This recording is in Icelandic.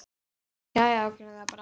Já já, gerum það bara.